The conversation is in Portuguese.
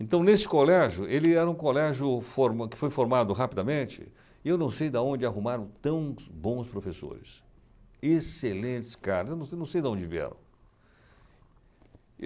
Então, nesse colégio, ele era um colégio forma que foi formado rapidamente, e eu não sei daonde arrumaram tão bons professores, excelentes caras, eu não sei não sei daonde vieram.